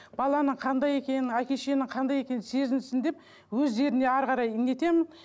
баланы қандай екен әке шешенің қандай екенін сезінсін деп өздеріне әрі қарай не етемін